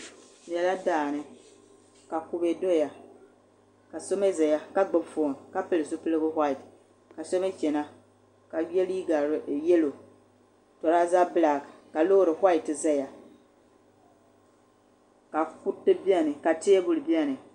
Di nyɛla daani ka kubɛ doya ka so mii ʒɛya ka gbubi foon ka pili zipiligu whaait ka so mii chɛna ka yɛ liiga yɛlo tureeza bilak ka loori whaait ʒɛya ka kuriti biɛni ka teebuli biɛni